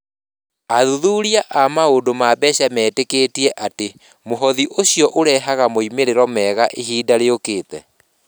Athuthuria a maũndũ ma mbeca metĩkĩtie atĩ mũhothi ũcio ũrehaga moimĩrĩro mega ma ihinda rĩũkĩte.